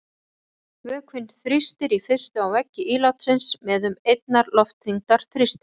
Vökvinn þrýstir í fyrstu á veggi ílátsins með um einnar loftþyngdar þrýstingi.